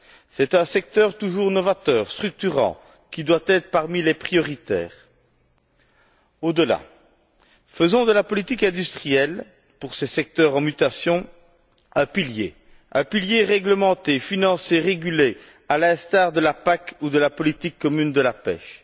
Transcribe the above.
C'est un secteur toujours novateur, structurant, qui doit être parmi les prioritaires. Au delà, faisons de la politique industrielle pour ces secteurs en mutation un pilier réglementé, financé, régulé à l'instar de la PAC ou de la politique commune de la pêche.